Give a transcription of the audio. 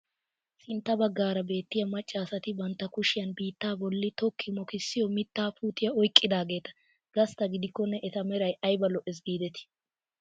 Sintta baggaara beettiyaa macca asati bantta kushiyaan biittaa bolli tokki mokissiyoo mittaa puutiyaa oyqqidageeta gastta gidikonne eta meray ayba lo"ees gidetii!